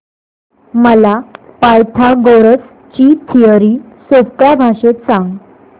मला पायथागोरस ची थिअरी सोप्या भाषेत सांग